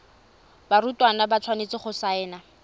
barutwana ba tshwanetse go saena